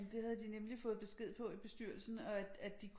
Jamen det havde de nemlig fået besked på i bestyrelsen og at de